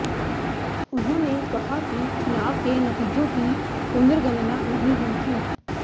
उन्होंने कहा कि चुनाव के नतीजों की पुनर्गणना नहीं हुई थी